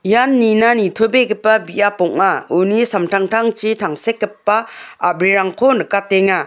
ian nina nitobegipa biap ong·a uni samtangtangchi tangsekgipa a·brirangko nikatenga.